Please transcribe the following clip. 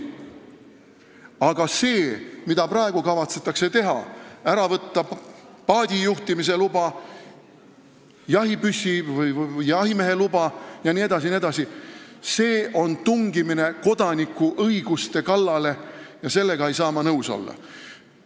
Aga see, mida praegu kavatsetakse teha – ära võtta paadijuhtimise luba, jahimeheluba jne, jne –, on tungimine kodaniku õiguste kallale ja sellega ei saa ma nõus olla.